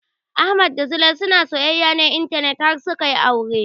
Ahmad da Zulai suna soyayyar intanet ne har suka yi aure